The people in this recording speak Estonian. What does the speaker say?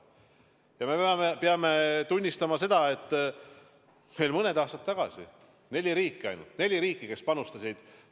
Ja me peame tunnistama, et veel mõned aastad tagasi oli vaid neli riiki, kes nii palju panustasid.